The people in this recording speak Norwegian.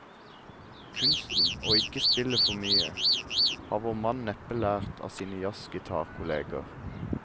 Kunsten å ikke spille for mye, har vår mann neppe lært av sine jazzgitarkolleger.